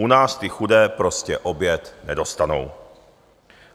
U nás ty chudé prostě oběd nedostanou.